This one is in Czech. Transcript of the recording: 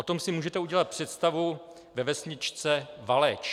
O tom si můžete udělat představu ve vesničce Valeč.